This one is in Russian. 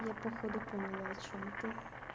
я походу поняла о чём ты